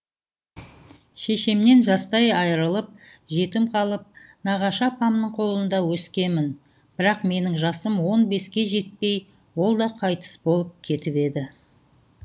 шешемнен жастай айрылып жетім қалып нағашы апамның қолында өскемін бірақ менің жасым он беске жетпей ол да қайтыс болып кетіп еді